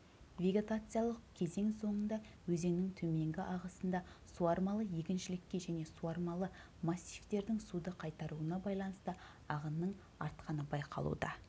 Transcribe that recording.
вегетациялық кезең соңында өзеннің төменгі ағысында суармалы егіншілікке және суармалы массивтердің суды қайтаруына байланысты ағынның артқаны байқалуда